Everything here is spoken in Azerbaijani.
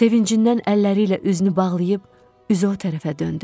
Sevincindən əlləri ilə üzünü bağlayıb, üzü o tərəfə döndü.